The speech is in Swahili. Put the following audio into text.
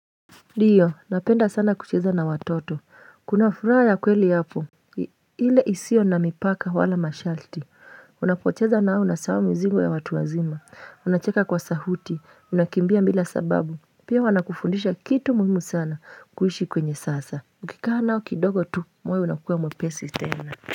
Ndiyo, napenda sana kucheza na watoto, kuna furaha ya kweli hapo ile isio na mipaka wala masharti, unapocheza nao unasahau mizigo ya watu wazima, unacheka kwa sauti, unakimbia bila sababu, pia wana kufundisha kitu muhimu sana, kuishi kwenye sasa, ukikaa nao kidogo tu, moyo unakuwa mwepesi tena.